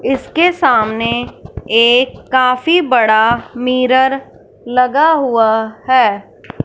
इसके सामने एक काफी बड़ा मिरर लगा हुआ है।